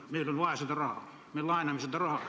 Meil on vaja seda raha, me laename seda raha.